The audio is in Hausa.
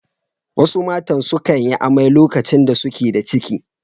Wasu matan sukan yi amai lokacin da suke da ciki.